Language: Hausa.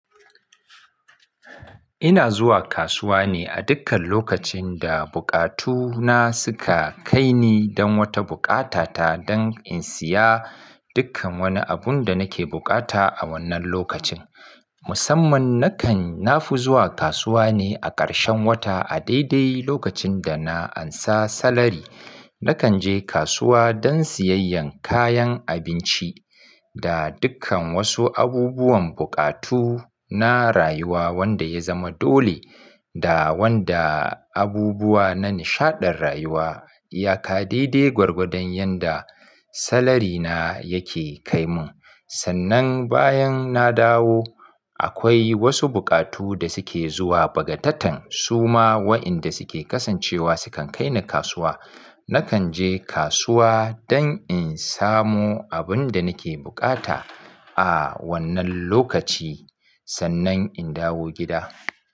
Ina zuwa kasuwa ne a dukkan lokacin da bukatuna suka kai ni don wata bukata ta don in siya dukkan wani abun da nake bukata a wannan lokacin. Musamman nakan nafi zuwa kasuwa ne a ƙarshen wata a daidai lokacin da na ansa salari. Nakan je kasuwa don siyayyan kayan abinci da dukkan wasu abubuwan bukatuna rayuwa wanda ya zama dole da wanda abubuwa na nishaɗen rayuwa. Yaka daidai gwargwadon yanda salarina yake kai mun. Sannan bayan na dawo akwai wasu bukatu da suke zuwa bagataten suma wa'inda suke kasancewa sukan kai ni kasuwa. Nakan je kasuwa don in samu abun da nake bukata a wannan lokaci sannan in dawo gida.